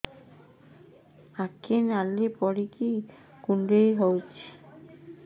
ଆଖି ନାଲି ପଡିକି କୁଣ୍ଡେଇ ହଉଛି